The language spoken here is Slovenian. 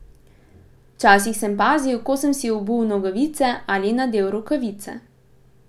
Včasih sem pazil, ko sem si obul nogavice ali nadel rokavice.